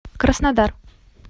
краснодар